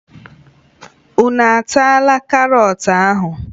Unu ataala karọt ahụ!